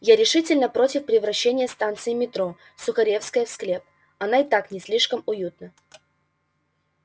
я решительно против превращения станции метро сухаревская в склеп она и так не слишком уютна